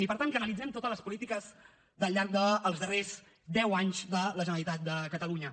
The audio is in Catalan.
i per tant que analitzem totes les polítiques del llarg dels darrers deu anys de la generalitat de catalunya